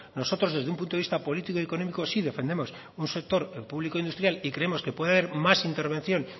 nosotros desde un punto de vista político y económico sí defendemos un sector el público e industrial y creemos que puede haber más intervención